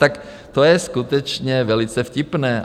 Tak to je skutečně velice vtipné.